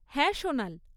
হ্যাঁ, সোনাল।